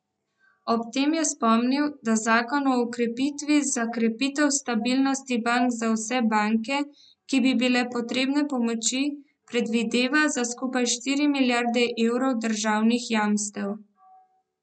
Ob tem je spomnil, da zakon o ukrepih za krepitev stabilnosti bank za vse banke, ki bi bile potrebne pomoči, predvideva za skupaj štiri milijarde evrov državnih jamstev.